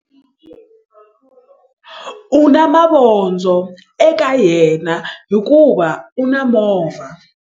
U na mavondzo eka yena hikuva u na movha.